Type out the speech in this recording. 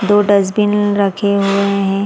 दो डस्टबिन रखे हुए हैं।